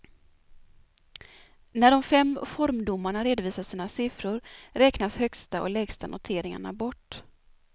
När de fem formdomarna redovisar sina siffror räknas högsta och lägsta noteringarna bort.